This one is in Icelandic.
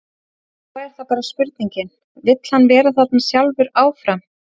Svo er það bara spurningin, vill hann vera þarna sjálfur áfram?